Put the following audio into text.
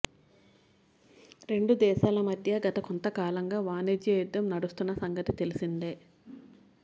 రెండు దేశాల మధ్య గత కొంతకాలంగా వాణిజ్య యుద్ధం నడుస్తున్న సంగతి తెలిసిందే